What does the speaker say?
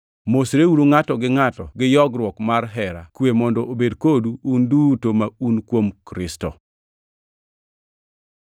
Mosreuru ngʼato gi ngʼato gi yogruok mar hera. Kwe mondo obed kodu un duto ma un kuom Kristo.